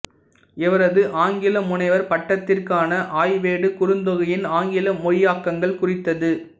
இவரது ஆங்கில முனைவர் பட்டத்திற்கான ஆய்வேடு குறுந்தொகையின் ஆங்கில மொழியாக்கங்கள் குறித்தது